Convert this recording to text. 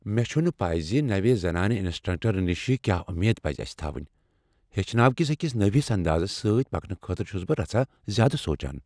مےٚ چھنہٕ پے زِ نوِ زنانہ انسٹرٛٹر نشہ کیٛاہ امید پز اسہ تھاوٕنۍ۔ ہیٚچھناوٕ کس أکس نٔوس اندازس سۭتۍ پکنہٕ خٲطرٕ چُھس بہٕ رژھاہ زیادٕ سوچان۔